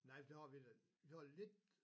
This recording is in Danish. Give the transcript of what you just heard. Nej for der har vi da vi har lidt